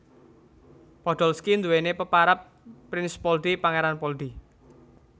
Podolski nduwèni peparab Prinz Poldi Pangéran Poldi